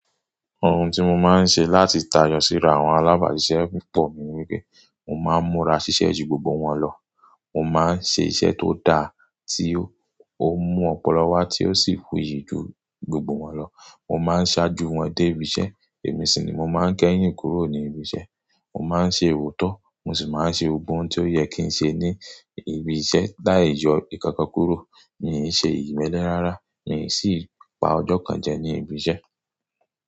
Ohun tí mo máa ń ṣe láti tayọ síra àwọn alábàáṣiṣẹ́ púpọ̀ ni wípé, mo máa ń múra ṣiṣẹ́ ju gbogbo wọn lọ. Mo máa ń ṣe iṣẹ́ tó dà tí ó mú ọpọlọ wá tí ó sì fuyì ju gbogbo wọn lọ. Mo má a ń ṣáájú wọn dé ibi iṣẹ́, èmi sì ni mo máa ń kẹ́yìn kúrò ní ibi iṣẹ́. Mo máa ń ṣe oọ̀tọ̀, mo sì máa ń ṣe ohun tí ó yẹ kí n ṣe ní ibi iṣẹ́. Lai yọ nkankan kúrò, mii ṣe ìmẹ́lẹ́ rárá, mi ò sì pa ọjọ́ kan jẹ ní ibi iṣẹ́